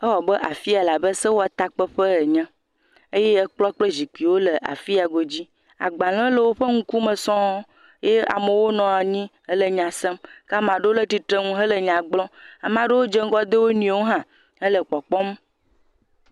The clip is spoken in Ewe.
Ewɔ abe, afia wɔ abe sewɔtakpeƒe enye eye kplɔ̃ kple zikpiwo le afia godzi. Agbalẽwo le woƒe ŋkume sɔŋ. Eye amewo nɔ anyi hele nya sem. Ke ama ɖewo le titreŋu hele nya gblɔm. Amaa ɖewo dze ŋgɔ de wo nɔewo hã hele kpɔkpɔm.